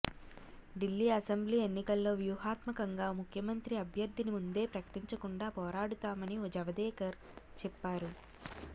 Delhi assembly ఎన్నికల్లో వ్యూహాత్మకంగా ముఖ్యమంత్రి అభ్యర్థిని ముందే ప్రకటించకుండా పోరాడుతామని జవదేకర్ చెప్పారు